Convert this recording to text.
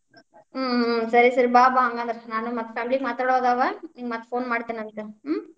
ಹ್ಮ್‌ ಹ್ಮ್‌ ಸರಿ ಸರಿ, ಬಾ ಬಾ ಹಂಗಂದ್ರ ನಾನು ಮತ್ family ಮಾತಾಡೋವ್ ಅವಾ, ನಿಂಗ್ ಮತ್ phone ಮಾಡ್ತೇನಂತ ಹ್ಮ್‌.